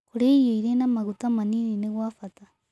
Kũrĩa irio ĩrĩ na magũta manĩnĩ nĩ gwa bata